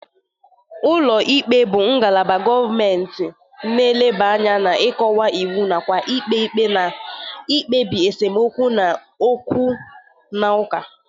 Ụlọ ikpe bụ ngalaba gọmenti na-eleba anya n'ịkọwa iwu nakwa ikpe ikpe na ikpebi esemokwu na okwu na ụka.